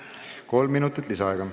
Kolm minutit lisaaega.